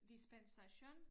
Dispensation